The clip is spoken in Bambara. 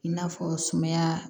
I n'a fɔ sumaya